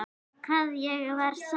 Hvað ég var sæl.